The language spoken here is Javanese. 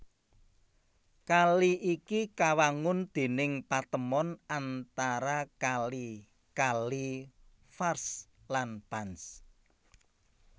Kali iki kawangun déning patemon antara kali kali Vakhsh lan Panj